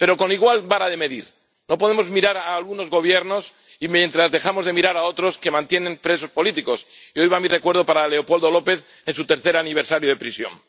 Pero con igual vara de medir no podemos mirar a algunos Gobiernos mientras dejamos de mirar a otros que mantienen presos políticos —y hoy va mi recuerdo para Leopoldo López en su tercer aniversario de prisión—.